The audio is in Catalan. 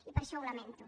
i per això ho lamento